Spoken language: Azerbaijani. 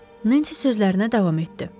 Nensi sözlərinə davam etdi.